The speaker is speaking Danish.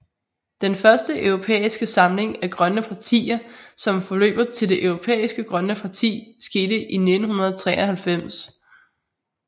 Den første europæiske samling af grønne partier som forløber til Det Europæiske Grønne Parti skete i 1993